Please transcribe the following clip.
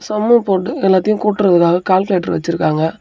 சம்மு போட்டு எல்லாத்தையும் கூட்றதுக்காக கால்குலேட்டர் வச்சிருக்காங்க.